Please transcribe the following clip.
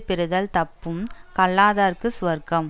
பெறுதல் தப்பும் கள்ளாதார்க்குத் சுவர்க்கம்